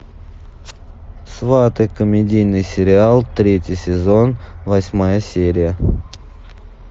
сваты комедийный сериал третий сезон восьмая серия